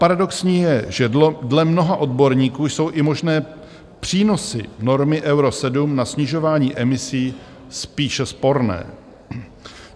Paradoxní je, že dle mnoha odborníků jsou i možné přínosy normy Euro 7 na snižování emisí spíše sporné.